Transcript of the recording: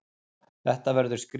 Þetta verður skrýtið.